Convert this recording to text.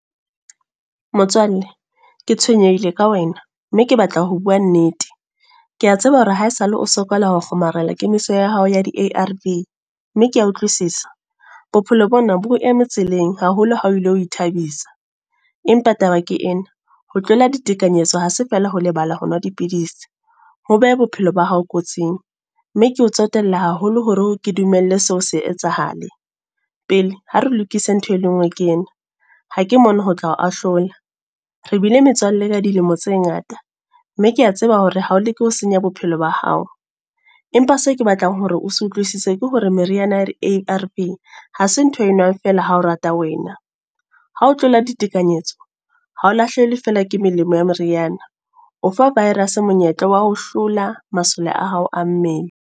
Motswalle, ke tshwenyehile ka wena. Mme ke batla ho bua nnete. Kea tseba hore ha esale o sokola ho kgomarela kemiso ya hao ya di-A_R _V. Mme kea utlwisisa. Bophelo bona bo o eme tseleng, haholo ha o lo ithabisa. Empa taba ke ena, ho tlola ditekanyetso ha se feela ho lebala ho nwa dipidisi. Ho beha bophelo ba hao kotsing. Mme keo tsotella haholo hore ke dumelle seo se etsahale. Pele, ha re lokise ntho e le nngwe ke ena. Ha ke mona ho tla ho ahlola, re bile metswalle ka dilemo tse ngata. Mme kea tseba hore ha o leke ho senya bophelo ba hao. Empa se ke batlang hore o se utlwisise ke hore meriana ya di-A_R_V, ha se ntho eo o enwang fela ha o rata wena. Ha o tlola ditekanyetso, ha o lahlehelwe fela ke melemo ya meriana. O fa virus monyetla wa ho hlola masole a hao a mmele.